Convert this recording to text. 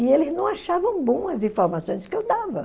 E eles não achavam bom as informações que eu dava.